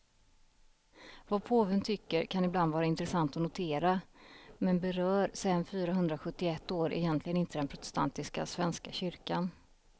Vad påven tycker kan ibland vara intressant att notera, men berör sen fyrahundrasjuttioett år egentligen inte den protestantiska svenska kyrkan.